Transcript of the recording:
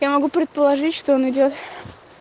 я могу предположить что он идёт